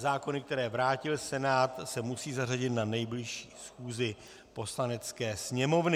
Zákony, které vrátil Senát, se musí zařadit na nejbližší schůzi Poslanecké sněmovny.